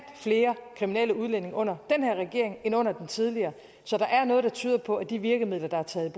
flere kriminelle udlændinge under den her regering end under den tidligere så der er noget der tyder på at de virkemidler der er taget